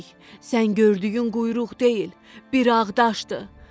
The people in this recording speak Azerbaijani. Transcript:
Sən gördüyün quyruq deyil, bir ağacdır.